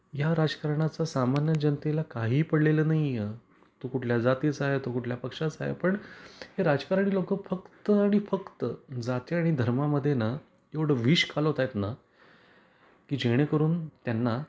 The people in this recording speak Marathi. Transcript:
या राजकारणाचा सामान्य जनतेला काही पडलेल नाही आहे. तो कुठल्या जातीचा आहे, तो कुठल्या पक्षाचा आहे पण हे राजकारणी लोक फक्त आणि फक्त जाती आणि धर्मा मध्ये ना एवढ विष कालवत आहेत ना की जेणेकरून त्यांना